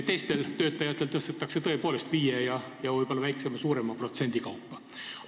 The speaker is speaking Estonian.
Teistel töötajatel tõstetakse palka tõepoolest viie ja võib-olla väiksema-suurema protsendi kaupa.